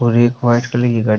और एक white colour की गाड़ी --